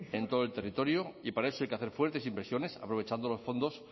en todo el territorio y para eso hay que hacer fuertes inversiones aprovechando los fondos